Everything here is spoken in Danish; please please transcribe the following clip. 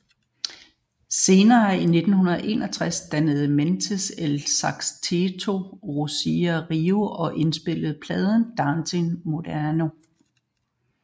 Senere i 1961 dannede Mendes El Sexteto Bossa Rio og indspillede pladen Dance Moderno